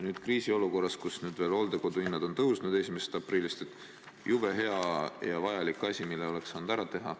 Nüüd kriisiolukorras, kus hooldekodude hinnad on 1. aprillist ka tõusnud, on see jube hea ja vajalik asi, mille oleks saanud ära teha.